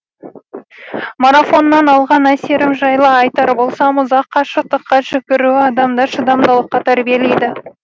марафоннан алған әсерім жайлы айтар болсам ұзақ қашықтыққа жүгіру адамды шыдамдылыққа тәрбиелейді